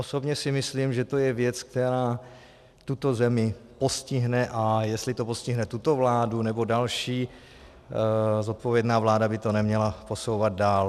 Osobně si myslím, že to je věc, která tuto zemi postihne, a jestli to postihne tuto vládu, nebo další, zodpovědná vláda by to neměla posouvat dál.